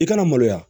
I kana maloya